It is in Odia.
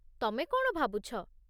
ତମେ କ'ଣ ଭାବୁଛ?